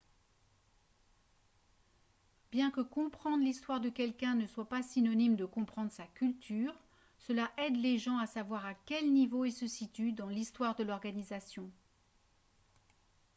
bien que comprendre l'histoire de quelqu'un ne soit pas synonyme de comprendre sa culture cela aide les gens à savoir à quel niveau ils se situent dans l'histoire de l'organisation